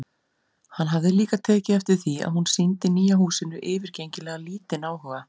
Hann hafði líka tekið eftir því að hún sýndi nýja húsinu yfirgengilega lítinn áhuga.